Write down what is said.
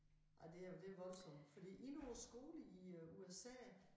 Ej det er det voldsomt fordi i nogle skoler i USA